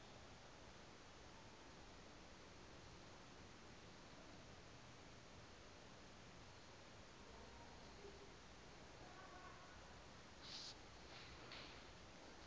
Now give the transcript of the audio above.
akuyi kusa kho